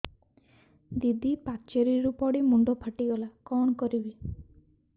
ଦିଦି ପାଚେରୀରୁ ପଡି ମୁଣ୍ଡ ଫାଟିଗଲା କଣ କରିବି